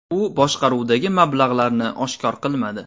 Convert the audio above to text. U boshqaruvdagi mablag‘larini oshkor qilmadi.